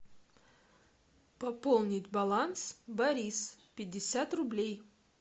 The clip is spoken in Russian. пополнить баланс борис пятьдесят рублей